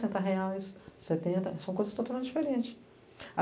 setenta. São coisas totalmente diferente.